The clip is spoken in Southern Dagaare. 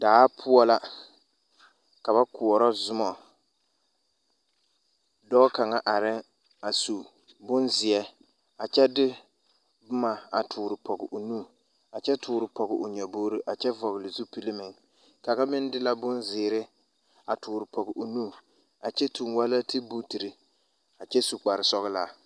Daa poɔ la ka ba koɔrɔ zumɔ dɔɔ kaŋa arɛŋ a su boŋzeere a kyɛ de boma a tɔɔre pɔŋ o nu a kyɛ tɔɔre pɔŋ o nyabogre a kyɛ vɔgle zupile meŋ kaŋa meŋ de la boŋ zēēre a tɔɔre pɔŋ o nu a kyɛ tuŋ wɛlɛŋtibutire a kyɛ su kpare sɔglaa.